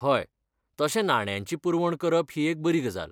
हय, तशें नाण्यांची पुरवण करप ही एक बरी गजाल.